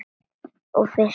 Og fiskar.